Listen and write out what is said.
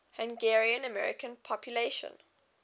hungarian american population